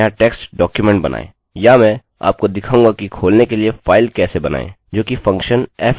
और हम इसको फाइल वेरिएबल में रखेंगे किन्तु यह अनिवार्य नहीं है